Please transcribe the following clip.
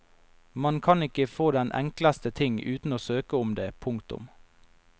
Man kan ikke få den enkleste ting uten å søke om det. punktum